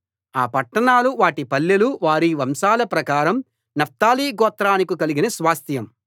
ఆ పట్టణాలు వాటి పల్లెలు వారి వంశాల ప్రకారం నఫ్తాలి గోత్రానికి కలిగిన స్వాస్థ్యం